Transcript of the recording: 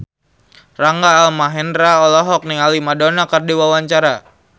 Rangga Almahendra olohok ningali Madonna keur diwawancara